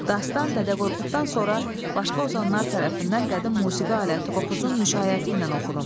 Dastan Dədə Qorquddan sonra başqa ozanlar tərəfindən qədim musiqi aləti Qopuzun müşayiəti ilə oxunub.